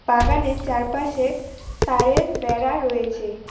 বাগানের চারপাশে তারের বেড়া রয়েছে।